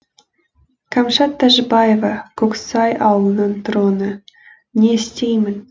кәмшат тәжібаева көксай ауылының тұрғыны не істеймін